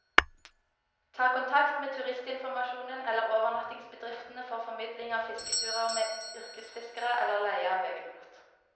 Ta kontakt med turistinformasjonen eller overnattingsbedriftene for formidling av fisketurer med yrkesfiskere, eller leie av egen båt.